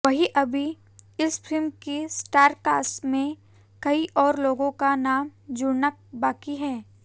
वहीं अभी इस फिल्म की स्टारकास्ट में कई और लोगों का नाम जुड़ना बाकी है